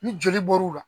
Ni joli bɔr'u la